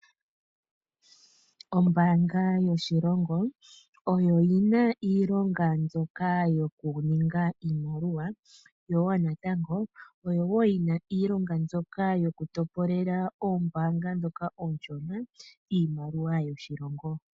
Ombaanga yoshilongo oyo yina iilonga mbyoka yo ku ninga iimaliwa, yo woo natango, oyo woo yina iilonga mbyoka yo ku topolela oombaanga ndhoka oonshona iimaliwa yoshilongo.